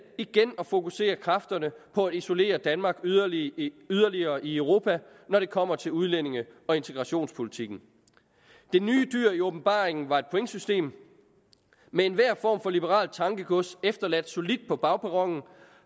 at fokusere kræfterne på at isolere danmark yderligere i yderligere i europa når det kommer til udlændinge og integrationspolitikken det nye dyr i åbenbaringen var et pointsystem med enhver form for liberalt tankegods efterladt solidt på bagperronen